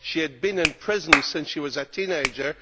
She had been in prison since she was a teenager.